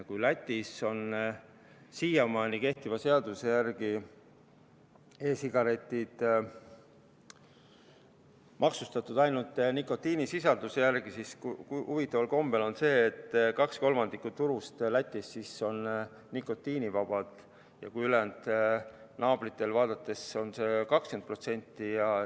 Kui Lätis on siiamaani kehtiva seaduse järgi e-sigaretid maksustatud ainult nikotiinisisalduse järgi, siis huvitaval kombel kaks kolmandikku Läti turust on nikotiinivaba, ülejäänud naabritel on see 20%.